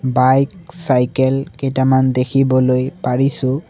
Bike cycle কেইটামান দেখিবলৈ পৰিছোঁ।